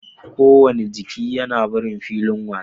Kowane jiki yana barin filin wasa